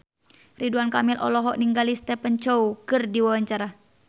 Ridwan Kamil olohok ningali Stephen Chow keur diwawancara